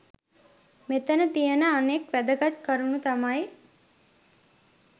මෙතන තියෙන අනෙක් වැදගත් කරුණ තමයි